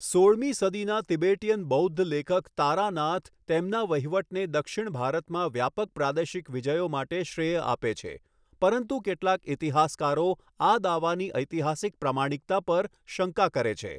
સોળમી સદીના તિબેટીયન બૌદ્ધ લેખક તારાનાથ તેમના વહીવટને દક્ષિણ ભારતમાં વ્યાપક પ્રાદેશિક વિજયો માટે શ્રેય આપે છે, પરંતુ કેટલાક ઇતિહાસકારો આ દાવાની ઐતિહાસિક પ્રામાણિકતા પર શંકા કરે છે.